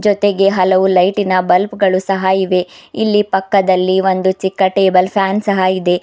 ಜೊತೆಗೆ ಹಲವು ಲೈಟ್ ಇನ ಬಲ್ಬ್ ಗಳು ಸಹ ಇವೆ ಇಲ್ಲಿ ಪಕ್ಕದಲ್ಲಿ ಒಂದು ಚಿಕ್ಕ ಟೇಬಲ್ ಫ್ಯಾನ್ ಸಹಾ ಇದೆ.